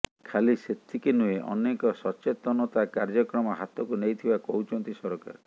ଖାଲି ସେତିକି ନୁହେଁ ଅନେକ ସଚେତନତା କାର୍ଯ୍ୟକ୍ରମ ହାତକୁ ନେଇଥିବା କହୁଛନ୍ତି ସରକାର